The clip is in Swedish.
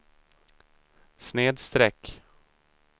snedsträck